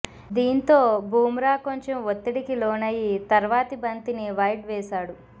దీంతో బుమ్రా కొంచెం ఒత్తడికి లోనయి తర్వాతి బంతిని వైడ్ వేశాడు